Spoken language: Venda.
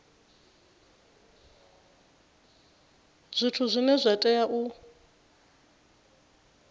zwithu zwine zwa tea u